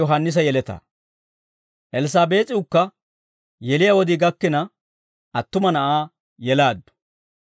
Elssaabees'iwukka yeliyaa wodii gakkina, attuma na'aa yelaaddu.